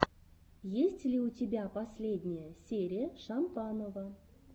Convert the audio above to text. есть ли у тебя последняя серия шампанова